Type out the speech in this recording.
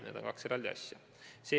Need on kaks eraldi asja.